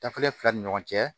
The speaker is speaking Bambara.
Dafilen fila ni ɲɔgɔn cɛ